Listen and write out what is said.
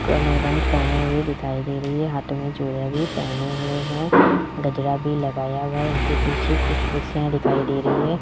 कमर बंद पहने हुए दिखाई दे रही है हाथों में चूड़ियां भी पहने हुए हैं गजरा भी लगाया हुआ है इनके पीछे कुछ कुर्सियां दिखाई दे रही है।